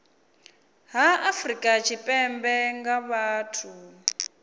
ha afrika tshipembe nga vhathu